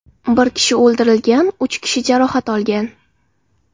Bir kishi o‘ldirilgan, uch kishi jarohat olgan.